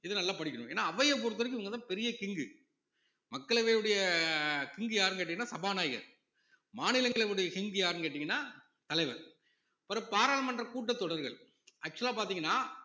இத நல்லா படிக்கணும் ஏன்னா அவைய பொறுத்தவரைக்கும் இவங்கதான் பெரிய king மக்களவையுடைய king யாருன்னு கேட்டீங்கன்னா சபாநாயகர் மாநிலங்களவையுடைய king யாருன்னு கேட்டீங்கன்னா தலைவர் அப்பறம் பாராளுமன்ற கூட்டத்தொடர்கள் actual ஆ பார்த்தீங்கன்னா